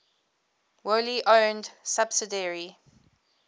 wholly owned subsidiary